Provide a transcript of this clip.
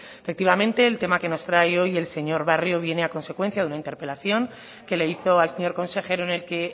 efectivamente el tema que nos trae hoy el señor barrio viene a consecuencia de una interpelación que le hizo al señor consejero en el que